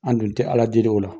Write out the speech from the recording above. An dun tɛ Ala deli o la.